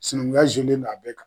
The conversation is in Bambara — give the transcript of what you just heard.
Sinankunya zelen no a bɛɛ kan